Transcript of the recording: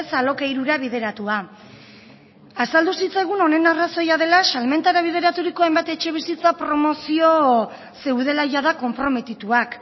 alokairura bideratua azaldu zitzaigun honen arrazoia dela salmentara bideraturiko hainbat etxebizitza promozio zeudela jada konprometituak